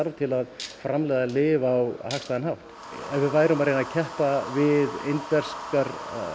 til að framleiða lyf á hagstæðan hátt ef við værum að reyna að keppa við indverskar